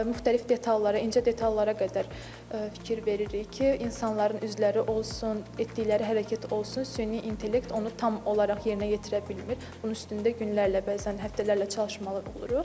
Müxtəlif detallara, incə detallara qədər fikir veririk ki, insanların üzləri olsun, etdikləri hərəkət olsun, süni intellekt onu tam olaraq yerinə yetirə bilmir, bunun üstündə günlərlə bəzən həftələrlə çalışmalı oluruq.